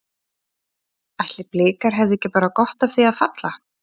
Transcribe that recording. Ætli Blikar hefðu ekki bara gott af því að falla?